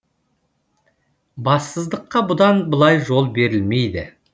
бассыздыққа бұдан былай жол берілмейді